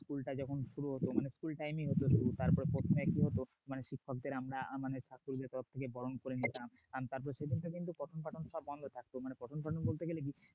school টা যখন শুরু হতো মানে school time এ হত শুরু তারপরে কি হতো মানে শিক্ষকদের আমরা মানে ছাত্রদের তরফ থেকে বরণ করে নিলাম মানে প্রথম বলতে গেলে